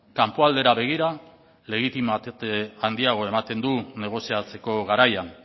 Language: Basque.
kanpoaldera begira legitimitate handiagoa ematen du negoziatzeko garaian